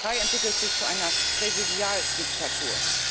Die Türkei entwickelt sich zu einer Präsidialdiktatur.